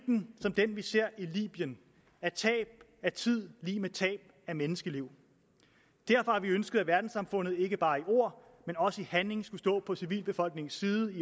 som den vi ser i libyen er tab af tid lig med tab af menneskeliv derfor har vi ønsket at verdenssamfundet ikke bare i ord men også i handling skulle stå på civilbefolkningens side i